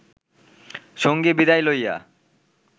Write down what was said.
সঙ্গী বিদায় লইয়া